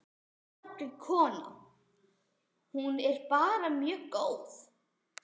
Ónafngreind kona: Hún er bara mjög góð?